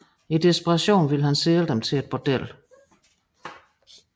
I desperation ville han sælge dem til et bordel